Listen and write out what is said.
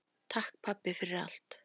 Takk, pabbi, fyrir allt.